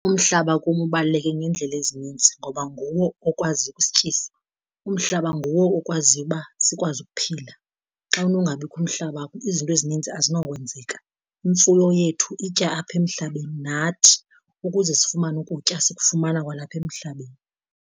Umhlaba kum ubaluleke ngeendlela ezininzi, ngoba nguwo okwazi ukusityisa. Umhlaba nguwo okwaziyo uba sikwazi ukuphila, xa unongabikho umhlaba izinto ezininzi azinokwenzeka. Imfuyo yethu itya apha emhlabeni, nathi ukuze sifumane ukutya sikufumana kwalapha emhlabeni.